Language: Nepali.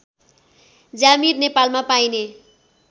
ज्यामीर नेपालमा पाइने